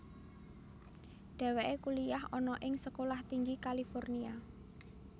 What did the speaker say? Dheweke kuliyah ana ing Sekolah Tinggi California